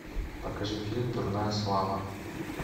покажи фильм дурная слава